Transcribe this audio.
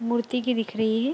मूर्ति की दिख रही है --